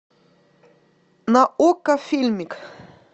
на окко фильмик